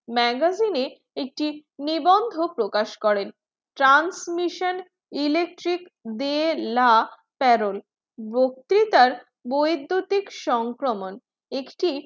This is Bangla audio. magazine একটি নিবন্ধ প্রকাশ করেন transmission electric bella perol বক্তিতার বৈদ্যুতিক সংক্রমণ একটি